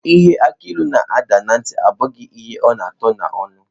Ihe akilu n'ada na ntị, abụghị ihe ọ na atọ n'ọnụ.